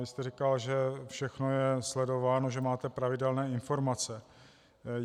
Vy jste říkal, že všechno je sledováno, že máte pravidelné informace.